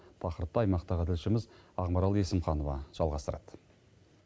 тақырыпты аймақтағы тілшіміз ақмарал есімханова жалғастырады